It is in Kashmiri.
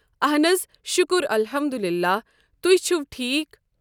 اہَن حظ شُکُر اَلحَمدُالِلّہ تُہۍ چھِو ٹھیٖک۔